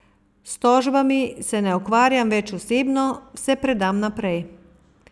S tožbami se ne ukvarjam več osebno, vse predam naprej.